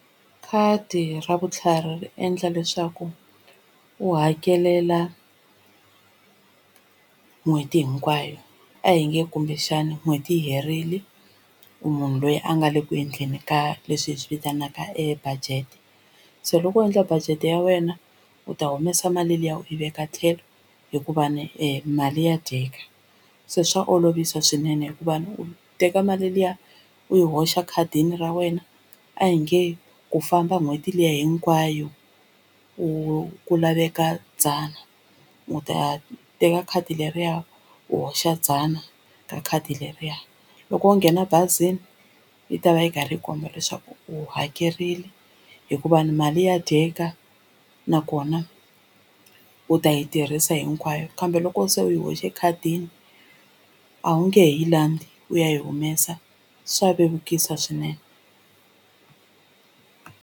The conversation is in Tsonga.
Khadi ra vutlhari ri endla leswaku u hakelela n'hweti hinkwayo a hi nge kumbexana n'hweti yi herile u munhu loyi a nga le ku endleni ka leswi hi swi vitanaka e budget se loko u endla budget ya wena u ta humesa mali liya u yi veka tlhelo hikuva ni mali ya dyeka se swa olovisa swinene hikuva u teka mali liya u yi hoxa ekhadini ra wena a hi nge ku famba n'hweti liya hinkwayo u ku laveka dzana u ta teka khadi leriya u hoxa dzana ka khadi leriya loko u nghena bazini yi ta va yi karhi yi komba leswaku u hakerile hikuva ni mali ya dyeka nakona u ta yi tirhisa hinkwayo kambe loko se u yi hoxe ekhadini a wu nge he yi landza u ya yi humesa swa vevukisa swinene.